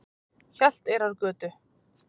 Hjalteyrargötu